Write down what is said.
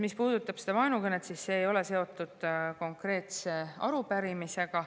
Mis puudutab vaenukõnet, siis see ei ole seotud konkreetse arupärimisega.